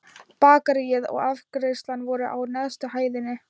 Bakaríið og afgreiðslan voru á neðstu hæðinni.